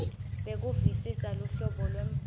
bekuvisisa luhlobo lwembhalo